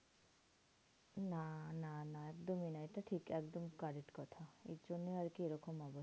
না না না একদমই না এটা ঠিক একদম correct কথা। এর জন্যেই আরকি এরম অবস্থা।